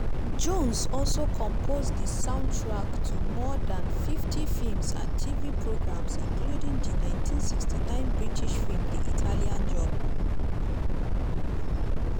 jones also compose di soundtrack to more dan 50 feems and tv programmes including di 1969 british feem di italian job.